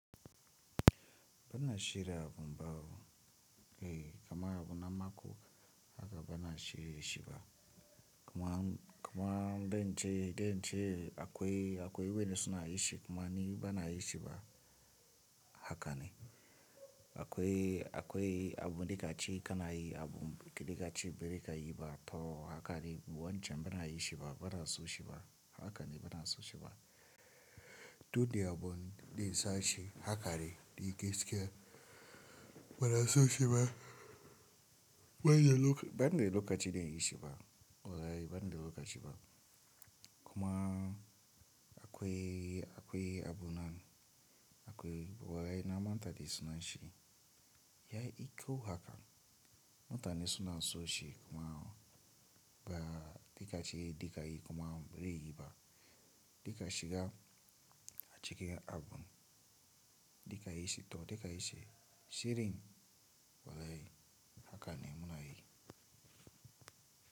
Bana shirya abun bawo. Eh, kamar abun na mako haka bana shirye shi ba. Kuma, kuma dai nce, dai nce akwai, akwai wurin suna yi shi kuma ni bana yi shi ba. Haka ne. Akwai, akwai abun da kaci kana yi, abun da kaci biri ka yi ba to haka ne. Wancan baza ayi shi ba, baza aso shi ba. Haka ne bana so shi ba. To dai abun dai na sace haka dai, da yake bana so shi ba. Bana lokaci, bana da lokaci na yi shi ba. Wa yayi bana da lokaci ba. Kuma akwai, akwai abun nan akwai wa yayi na manta da suna shi. Yayi iko haka. Mutane suna so shi kuma ba da kaci dai ka yi kuma bai riga yi ba. Da ka shiga a cikin abun da ka yi shi to da ka yi shi shirin wa yayi haka ne muna yi.